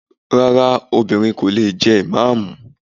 Rárá, obìnrin kò lè jẹ ìmáàmù.